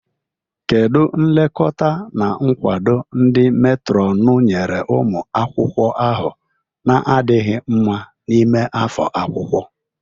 Kedu nlekọta na nkwado ndị meetron nyere ụmụ akwụkwọ ahụ na-adịghị mma n'ime afọ akwụkwọ?